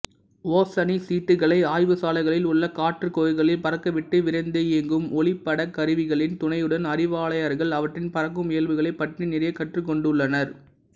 ஓசனிச்சிட்டுகளை ஆய்வுச்சாலைகளில் உள்ள காற்றுக்குகைகளில் பறக்கவிட்டு விரைந்தியங்கும் ஒளிப்படக்கருவிகளின் துணையுடன் அறிவியலாளர்கள் அவற்றின் பறக்கும் இயல்புகளைப் பற்றி நிறைய கற்றுக்கொண்டுள்ளனர்